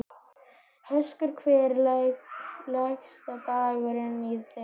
Höskuldur: Hvernig leggst dagurinn í þig?